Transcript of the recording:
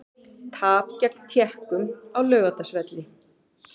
Tap gegn Tékkum á Laugardalsvelli